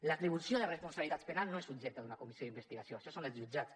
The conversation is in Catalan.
l’atribució de responsabilitats penals no és objecte d’una comissió d’investigació això són els jutjats